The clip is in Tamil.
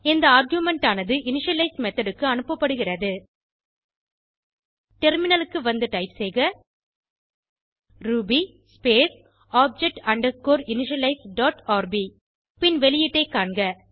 இந்த ஆர்குமென்ட் ஆனது இனிஷியலைஸ் மெத்தோட் க்கு அனுப்பப்படுகிறது டெர்மினலுக்கு வந்து டைப் செய்க Ruby space object underscore initialize dot RB பின் வெளியீட்டை காண்க